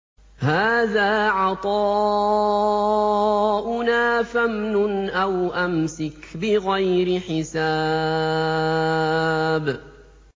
هَٰذَا عَطَاؤُنَا فَامْنُنْ أَوْ أَمْسِكْ بِغَيْرِ حِسَابٍ